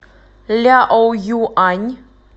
ляоюань